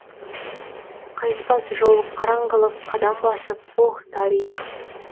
қайтпас жол қараңғылық қадам басып оһ дарих